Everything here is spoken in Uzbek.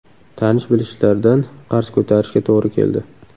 Tanish-bilishlardan qarz ko‘tarishga to‘g‘ri keldi.